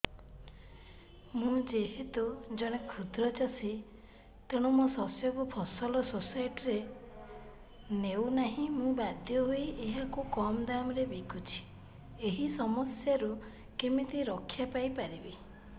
ମୁଁ ଯେହେତୁ ଜଣେ କ୍ଷୁଦ୍ର ଚାଷୀ ତେଣୁ ମୋ ଶସ୍ୟକୁ ଫସଲ ସୋସାଇଟି ନେଉ ନାହିଁ ମୁ ବାଧ୍ୟ ହୋଇ ଏହାକୁ କମ୍ ଦାମ୍ ରେ ବିକୁଛି ଏହି ସମସ୍ୟାରୁ କେମିତି ରକ୍ଷାପାଇ ପାରିବି